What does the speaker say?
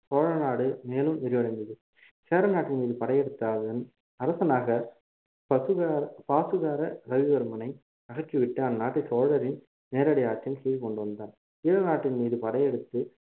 சோழநாடு மேலும் விரிவடைந்தது சேரநாட்டின் மீது படையெடுத்தாலும் அரசனாக பசுகர பாசுகர ரவிவர்மனை அகற்றிவிட்டு அந்நாட்டை சோழரின் நேரடி ஆட்சியின் கீழ் கொண்டு வந்தான் ஈழநாட்டின் மீது படையெடுத்து